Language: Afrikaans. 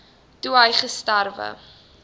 toe hy gesterwe